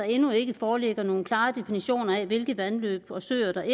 endnu ikke foreligger nogen klare definitioner af hvilke vandløb og søer der